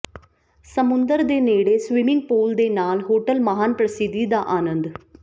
ਸਮੁੰਦਰ ਦੇ ਨੇੜੇ ਸਵਿਮਿੰਗ ਪੂਲ ਦੇ ਨਾਲ ਹੋਟਲ ਮਹਾਨ ਪ੍ਰਸਿੱਧੀ ਦਾ ਆਨੰਦ